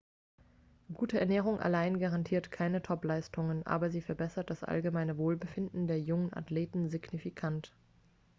gute ernährung allein garantiert keine topleistungen aber sie verbessert das allgemeine wohlbefinden der jungen athleten signifikant